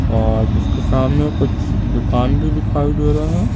और इसके सामने कुछ दुकान भी दिखाई दे रहे हैं।